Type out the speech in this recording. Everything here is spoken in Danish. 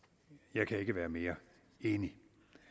jeg kan ikke være mere enig